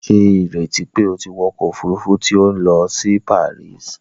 Ṣe ìrètí pé o tí wọ ọkọ òfurufú tí o n lọ si Paris!?